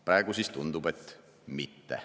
Praegu tundub, et mitte.